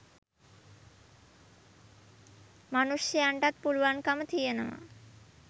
මනුෂ්‍යයන්ටත් පුළුවන්කම තියෙනවා